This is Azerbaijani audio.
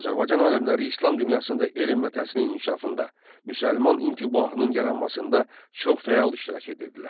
Azərbaycan alimləri İslam dünyasında elm və təhsilin inkişafında, müsəlman intibahının yaranmasında çox fəal iştirak edirdilər.